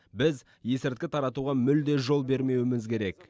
біз есірткі таратуға мүлде жол бермеуіміз керек